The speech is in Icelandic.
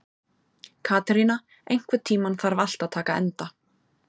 Katerína, einhvern tímann þarf allt að taka enda.